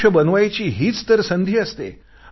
आयुष्य बनवायची हीच तर संधी असते